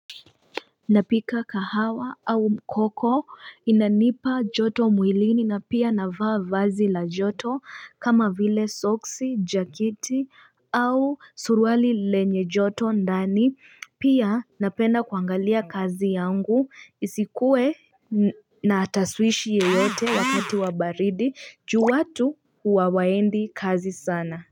Napika kahawa au mkoko inanipa joto mwilini na pia navaa vazi la joto kama vile soksi jaketi au suruali lenye joto ndani pia napenda kuangalia kazi yangu isikuwe na taswishi yeyote wakati wa baridi juu watu huwa waendi kazi sana.